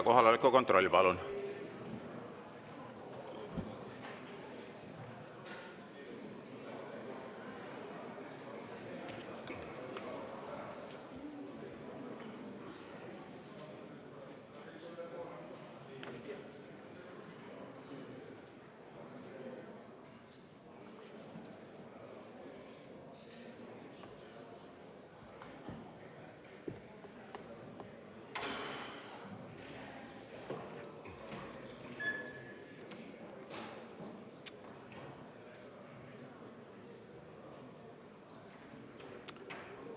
Kohaloleku kontroll, palun!